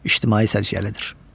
İctimai səciyyəlidir.